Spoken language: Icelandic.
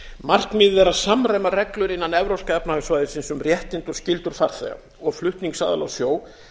markmiðið er að samræma reglur innan evrópska efnahagssvæðisins um réttindi og skyldur farþega og flutningsaðila á sjó